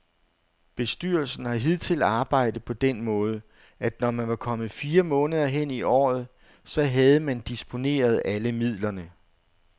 Bestyrelsen har hidtil arbejdet på den måde, at når man var kommet fire måneder hen i året, så havde man disponeret alle midlerne.